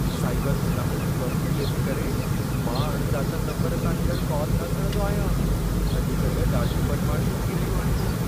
Cyber गुनाहनि जी बभिकीअ जे करे मां अण ॼातल नम्बरनि तां ईंदड़ कॉल न खणंदो आहियां। अॼु कल्ह ॾाढियूं बदमाशियूं थी रहियूं आहिनि।